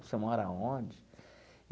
Você mora onde?